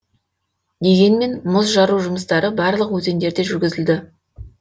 дегенмен мұз жару жұмыстары барлық өзендерде жүргізілді